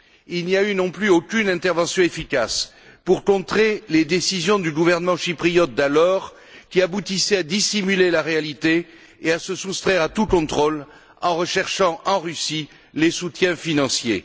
Il n'y a eu non plus aucune intervention efficace pour contrer les décisions du gouvernement chypriote d'alors qui aboutissaient à dissimuler la réalité et à se soustraire à tout contrôle en recherchant, en Russie, des soutiens financiers.